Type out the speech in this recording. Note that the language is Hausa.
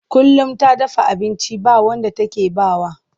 Kullum ta dafa abinci ba wanda take ba wa.